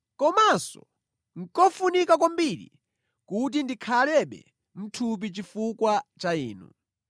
Komanso nʼkofunika kwambiri kuti ndikhalebe mʼthupi chifukwa cha inu.